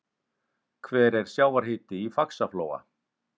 hver er sjávarhiti í faxaflóa